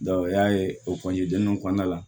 o y'a ye o kɔnɔna la